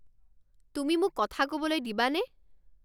তুমি মোক কথা ক'বলৈ দিবানে?